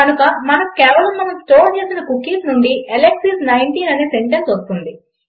కనుక మనకు కేవలం మనం స్టోర్ చేసిన కుకీస్ నుండి అలెక్స్ ఐఎస్ 19 అనే సెంటెన్స్ వస్తుంది